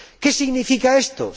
¿Qué significa esto?